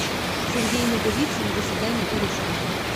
сергей наговицын до свидания кореша